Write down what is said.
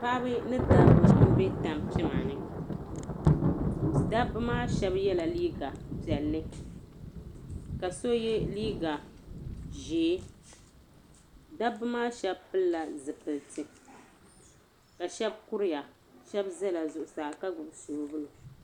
Paɣiba ni dabba m-be tampima ni. Dabba maa shɛba yɛla liiga piɛlli ka so ye liiga ʒee. Dabba maa shɛba pilila zipiliti ka shɛba kuriya. Shɛba zala zuɣusaa ka gbibi soobuli.